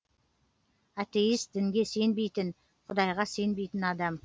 атеист дінге сенбейтін құдайға сенбейтін адам